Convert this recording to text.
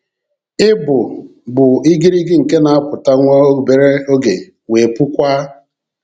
Ị bụ bụ igirigi nke na-apụta nwa obere oge wee pụkwaa."